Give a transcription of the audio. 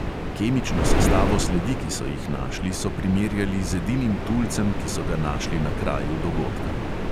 Kemično sestavo sledi, ki so jih našli, so primerjali z edinim tulcem, ki so ga našli na kraju dogodka.